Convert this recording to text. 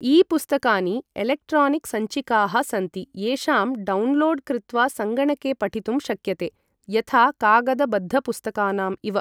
E पुस्तकानि इलेक्ट्रॉनिकसञ्चिकाः सन्ति, येषां डाउनलोड् कृत्वा सङ्गणके पठितुं शक्यते यथा कागदबद्धपुस्तकानां इव ।